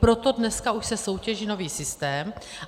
Proto dneska už se soutěží nový systém.